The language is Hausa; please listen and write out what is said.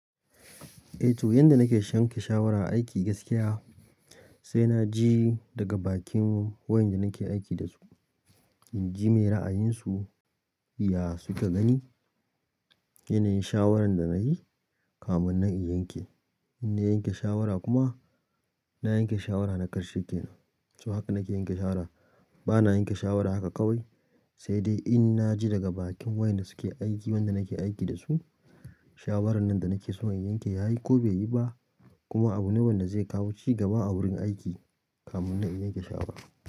Eh to yanda nake shanke shawara aiki gaskiya sai na ji daga bakin wayanda nake aiki dasu. In ji me ra'ayinsu ya suka gani, yanayin shawarar da nayi kamun nan in yanke. In na yanke shawara kuma, na yanke shawara na karshe kenan. To haka nake yanke shawara bana yanke shawara haka kawai sai dai in na ji daga bakin wayanda suke aiki wayanda nake aiki dasu. Shawaran nan da nake so in yanke yayi ko bai yi ba kuma abu ne wanda zai kawo cigaba a wurin aiki kamun nan in yanke shawara.